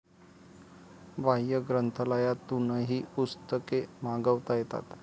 बाह्य ग्रंथालयातूनही पुस्तके मागवता येतात